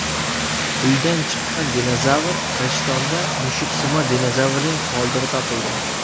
Uydan chiqqan dinozavr Rishtonda mushuksimon dinozavrning qoldig‘i topildi .